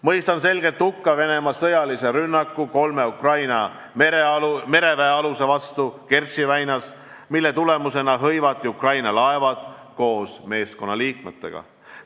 Mõistan selgelt hukka Venemaa sõjalise rünnaku kolme Ukraina mereväealuse vastu Kertši väinas, mille tagajärjel hõivati Ukraina laevad koos meeskonnaliikmetega.